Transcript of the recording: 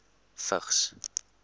vigs